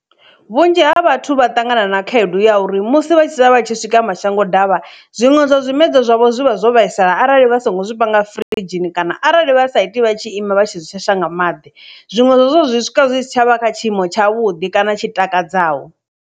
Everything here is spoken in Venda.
Vhunzhi ha vhathu vha ṱangana na khaedu ya uri musi vha tshi sala vha tshi swika mashango davha zwiṅwe zwa zwimela zwavho zwi vha zwo vhaisala arali vha songo zwi vhanga firidzhini kana arali vha sa iti vha tshi ima vha tshi shasha nga maḓi zwinwe zwazwo zwi swika zwi si tshavha kha tshiimo tsha vhudi kana tshi takadzaho.